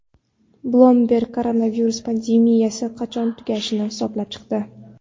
Bloomberg koronavirus pandemiyasi qachon tugashini hisoblab chiqdi.